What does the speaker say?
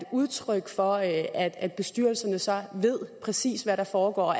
udtryk for at at bestyrelserne så ved præcis hvad der foregår